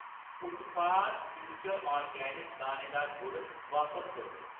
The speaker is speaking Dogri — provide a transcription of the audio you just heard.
उत्पाद फ्यूचर ऑर्गेनिक्स दानेदार गुड़ बापस करो